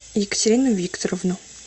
екатерину викторовну